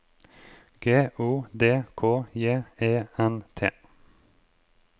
G O D K J E N T